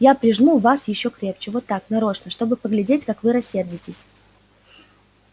я прижму вас ещё крепче вот так нарочно чтобы поглядеть как вы рассердитесь